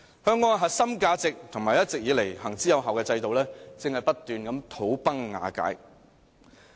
香港的核心價值和一直以來行之有效的制度，正在不斷土崩瓦解。